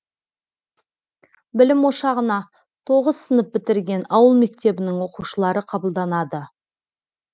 білім ошағына тоғыз сынып бітірген ауыл мектебінің оқушылары қабылданады